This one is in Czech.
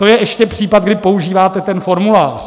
To je ještě případ, kdy používáte ten formulář.